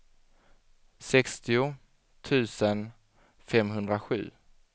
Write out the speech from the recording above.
sextio tusen femhundrasju